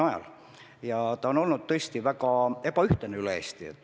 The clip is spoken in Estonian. See on tõesti olnud väga ebaühtlane üle Eesti.